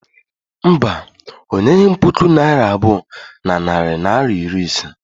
Mba, o nyeghị m puku naira abụọ na narị naịra iri ise.